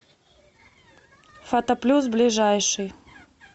фотоплюс ближайший